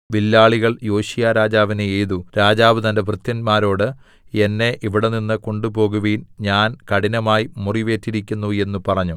വില്ലാളികൾ യോശീയാരാജാവിനെ എയ്തു രാജാവ് തന്റെ ഭൃത്യന്മാരോട് എന്നെ ഇവിടെനിന്ന് കൊണ്ടുപോകുവിൻ ഞാൻ കഠിനമായി മുറിവേറ്റിരിക്കുന്നു എന്ന് പറഞ്ഞു